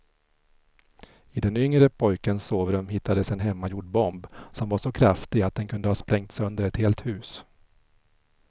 I den yngre pojkens sovrum hittades en hemmagjord bomb som var så kraftig att den kunde ha sprängt sönder ett helt hus.